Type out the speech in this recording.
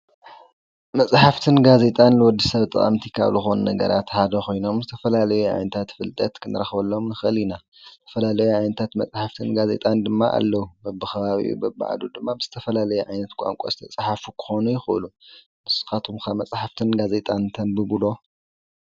መፅሓፍትን ጋዜጤን ንወዲ ሰብ ጠቀምት ካብ ዝኮኑ ነገራት ሓደ ኮይኖም ዝትፈላለየ ዓይነታት ፍልጠት ክንረክበሎም ንክኢል ኢና። ዝተፈላለየን ዓይነታት መፅሓፍት ጋዜጤን ድማ ኣለው በብከባቢኡ በብዓዱ ድማ ብዝተፈላለየ ዓይነት ቋንቋ ዝተፀሓፈ ክኮኑ ይክእሉ። ንስካትኩም ከ መፅሓፍትን ጋዜጣን ተንብቡ ዶ?